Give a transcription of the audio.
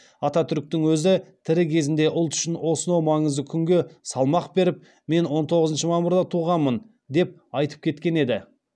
ататүріктің өзі тірі кезінде ұлт үшін осынау маңызды күнге салмақ беріп мен он тоғызыншы мамырда туғанмын деп айтып кеткен еді